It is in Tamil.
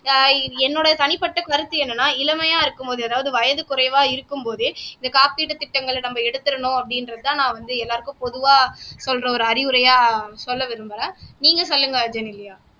ஆஹ் என்னோட தனிப்பட்ட கருத்து என்னன்னா இளமையா இருக்கும்போது அதாவது வயது குறைவா இருக்கும் போதே இந்த காப்பீடு திட்டங்களை நம்ம எடுத்தரணும் அப்படின்றதுதான் நான் வந்து எல்லாருக்கும் பொதுவா சொல்ற ஒரு அறிவுரையா சொல்ல விரும்புறேன் நீங்க சொல்லுங்க ஜெனிலியா